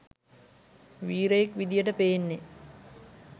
වීරයෙක් විදියට පේන්නේ